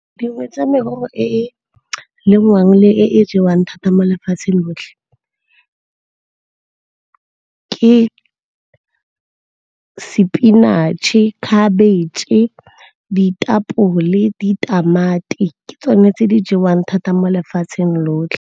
Dingwe tsa merogo e e lengwang le e jewang thata mo lefatsheng lotlhe ke sepinatšhe, khabetšhe, ditapole le ditamati. Ke tsone tse di jewang thata mo lefatsheng lotlhe.